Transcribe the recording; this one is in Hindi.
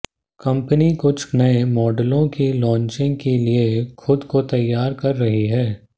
कंपनी कुछ नए मॉडलों की लांचिंग के लिए खुद को तैयार कर रही है